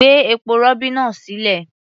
Gbé epo-rọ̀bì náà sílẹ̀.